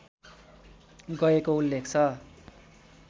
गएको उल्लेख छ